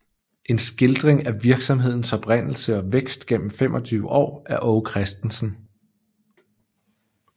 En Skildring af Virksomhedens Oprindelse og Vækst gennem 25 Aar af Aage Christensen